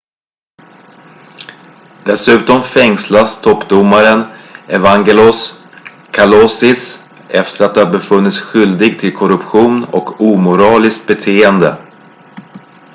dessutom fängslas toppdomaren evangelos kalousis efter att ha befunnits skyldig till korruption och omoraliskt beteende